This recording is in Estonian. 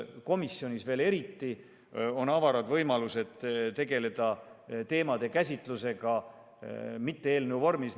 Komisjonis on veel eriti avarad võimalused käsitleda teemasid mitte eelnõu menetlemise vormis.